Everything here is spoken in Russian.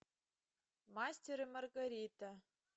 мастер и маргарита